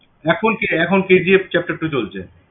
এখন কে~ এখন KGF chapter two চলছে